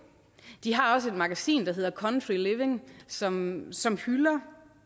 de har også et magasin der hedder country living som som hylder